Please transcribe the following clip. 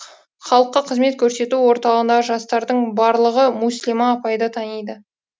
халыққа қызмет көрсету орталығындағы жастардың барлығы мүслима апайды таниды